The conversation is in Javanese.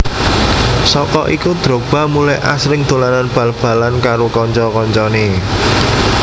Saka iku Drogba mulai asring dolanan bal balan karo kanca kancanè